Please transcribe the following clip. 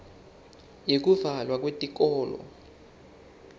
yekuvalwa kweyikolo